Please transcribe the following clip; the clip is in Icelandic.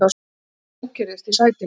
Hann ókyrrðist í sætinu.